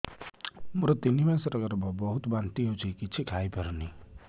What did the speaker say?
ମୋର ତିନି ମାସ ଗର୍ଭ ବହୁତ ବାନ୍ତି ହେଉଛି କିଛି ଖାଇ ପାରୁନି